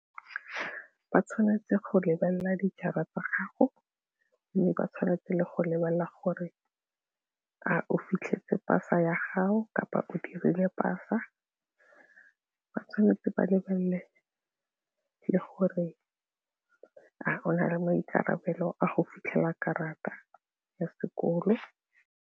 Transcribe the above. Ba tshwanetse go lebelela dijara tsa gago mme ba tshwanetse le go lebelela gore a o fitlhetse pasa ya gago kapa o dirile pasa, ba tshwanetse ba lebelele le gore a gona le maikarabelo a go fitlhela karata ya sekolo.